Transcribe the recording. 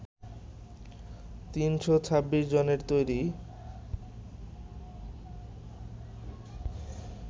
৯শ ২৬ জনের তৈরি